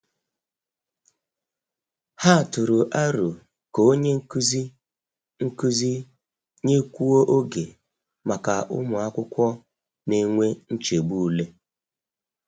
Ha tụrụ aro ka onye nkuzi nkuzi nyekwuo oge maka ụmụ akwụkwọ na-enwe nchegbu ule.